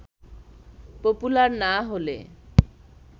popular না হলে